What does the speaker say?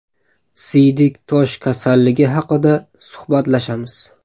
Siydik tosh kasalligi haqida suhbatlashamiz.